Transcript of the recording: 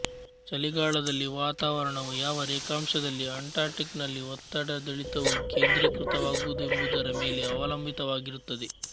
ಚಳಿಗಾಲದಲ್ಲಿ ವಾತಾವರಣವು ಯಾವ ರೇಖಾಂಶದಲ್ಲಿ ಅಟ್ಲಾಂಟಿಕ್ ನಲ್ಲಿ ಒತ್ತಡದಿಳಿತವು ಕೇಂದ್ರೀಕೃತವಾಗುವುದೆಂಬುದರ ಮೇಲೆ ಅವಲಂಬಿತವಾಗಿರುತ್ತದೆ